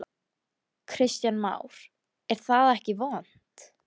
Kristján Már: Er það ekki vont?